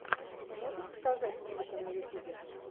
ты можешь показать музыка на ютубе